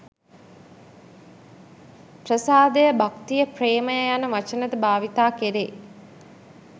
ප්‍රසාදය, භක්තිය ප්‍රේමය යන වචන ද භාවිත කෙරේ.